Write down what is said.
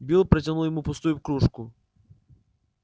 билл протянул ему пустую кружку